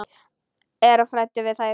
Er of hræddur við þær.